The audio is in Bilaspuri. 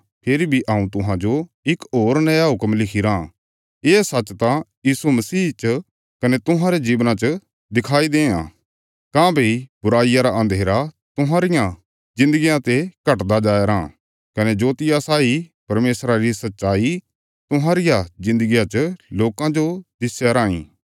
फेरी बी हऊँ तुहांजो इक होर नया हुक्म लिखिराँ ये सच्च त यीशु मसीह च कने तुहांरे जीवना च दिखाई देआं काँह्भई बुराईया रा अन्धेरा तुहांरिया जिन्दगिया ते घटदा जाया राँ कने जोतिया साई परमेशरा री सच्चाई तुहांरिया जिन्दगिया च लोकां जो दिस्या राँई